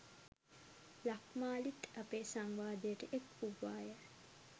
ලක්මාලිත් අපේ සංවාදයට එක්වූවාය.